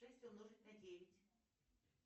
шесть умножить на девять